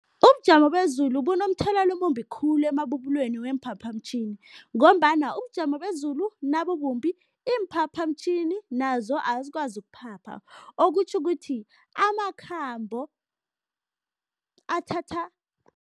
Ubujamo bezulu bunomthelelo omumbi khulu emabubulweni weemphaphamtjhini ngombana ubujamo bezulu nabubumbi, iimphaphamtjhini nazo azikwazi ukuphapha, okutjho ukuthi amakhambo athatha